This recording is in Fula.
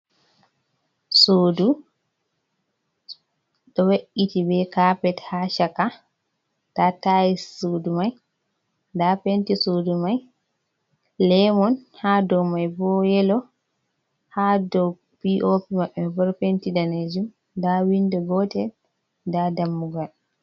Sudu do we’iti be kapet ha chaka, nda tais sudu man nda penti sudu mai lemon ha do mai bo yelo ha do penti danejum nda windo gotel da dammugal.